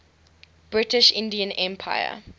british indian empire